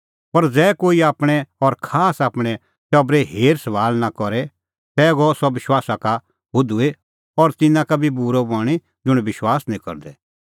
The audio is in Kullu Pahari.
पर ज़ै कोई आपणैं और खासकर आपणैं टबरे हेरसभाल़ नां करे तै गअ सह विश्वासा का हुधूई और तिन्नां का बी बूरअ बणीं ज़ुंण विश्वास निं करदै